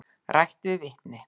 Rætt við vitni.